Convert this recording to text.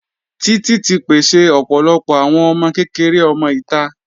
Títì ti pèsè ọ̀pọ̀lọpọ̀ àwọn ọmọ kékeré ọmọ ìta.